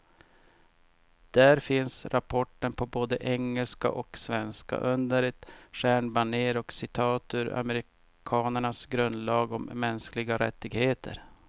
Där finns rapporten på både engelska och svenska, under ett stjärnbanér och citat ur amerikanernas grundlag om mänskliga rättigheter.